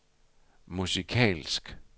musikalsk